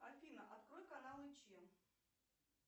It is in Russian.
афина открой каналы че